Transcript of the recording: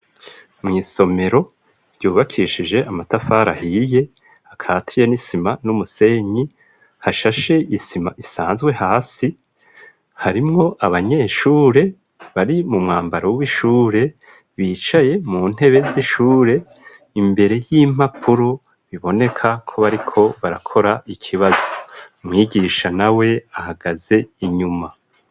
Mw’isomero ryubakishije amatafara ahiye akatiye n'isima n'umusenyi hashashe isima isanzwe hasi harimwo abanyeshure bari mu mwambaro w'ishure bicaye mu ntebe z'ishure imbere y'impapuro biboneka ko bariko barakora ikibazo mwigisha na we ahagaze inyuma.